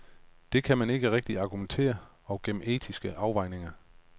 Det kan man med de rigtige argumenter og gennem etiske afvejninger.